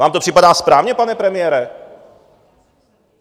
Vám to připadá správně, pane premiére?